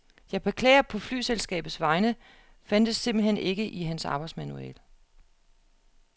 Jeg beklager på flyselskabets vegne, fandtes simpelt hen ikke i hans arbejdsmanual.